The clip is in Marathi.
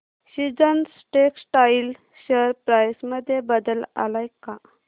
सीजन्स टेक्स्टटाइल शेअर प्राइस मध्ये बदल आलाय का